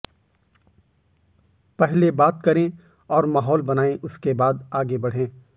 पहले बात करें और माहौल बनाएं उसके बाद आगे बढ़ें